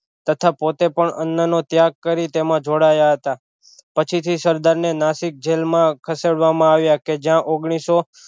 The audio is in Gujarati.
તથા પોતે પણ અન્ન નો ત્યાગ કરી તેમાં જોડાયા હતા પછી થી સરદાર ને નસિકજેલ માં ખસેડવામાં આવ્યા કે જયા ઓગનીશો